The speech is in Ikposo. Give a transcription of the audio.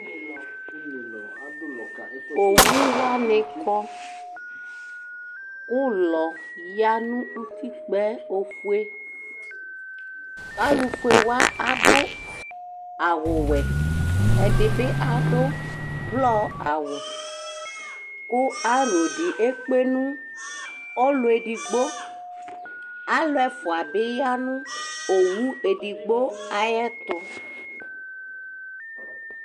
Owʋ wanɩ akɔ Ʋlɔfueyǝ nʋ ʋtikpǝ yɛ Kʋ alʋfue wanɩ adʋ awʋwɛ Ɛdɩbɩ adʋ ʋblɔawʋ Kʋ aro dɩ ekpe nʋ ɔlʋ edigbo Alʋefʋa dɩnɩya nʋ owʋ edigbo ayɛtʋ